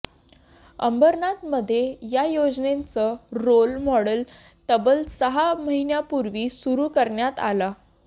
अंबरनाथमध्ये या योजनेचं रोल मॉडेल तब्बल सहा महिन्यांपूर्वी सुरु करण्यात आलं